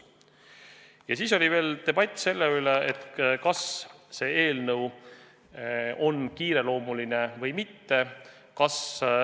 Ja veel oli debatt selle üle, kas see eelnõu on kiireloomuline või mitte.